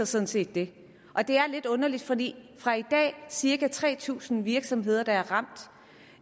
sådan set det og det er lidt underligt fordi fra i dag cirka tre tusind virksomheder der er ramt